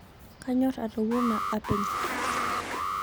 Kanyor atowuana apeny